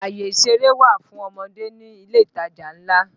Àyè ìṣeré wà fún ọmọdé ní ilé ìtajà ńlá náà